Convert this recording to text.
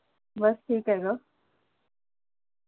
बस ठीक आहेग